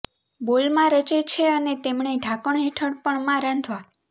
બોલમાં રચે છે અને તેમને ઢાંકણ હેઠળ પણ માં રાંધવા